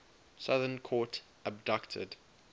southern court abducted